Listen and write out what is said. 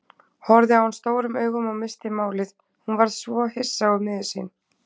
Horfði á hann stórum augum og missti málið, hún varð svo hissa og miður sín.